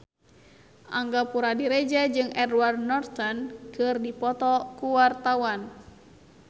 Angga Puradiredja jeung Edward Norton keur dipoto ku wartawan